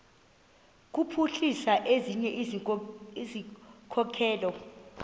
kuphuhlisa ezinye izikhokelo